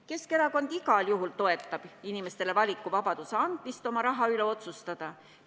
Keskerakond igal juhul toetab inimestele valikuvabaduse andmist oma raha üle otsustada.